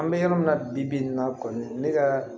An bɛ yɔrɔ min na bi bi bi in na kɔni ne ka